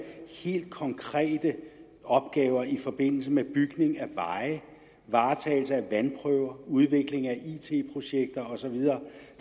helt konkrete opgaver i forbindelse med bygning af veje varetagelse af vandprøver udvikling af it projekter og så videre